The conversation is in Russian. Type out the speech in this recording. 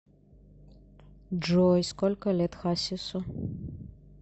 джой сколько лет хасису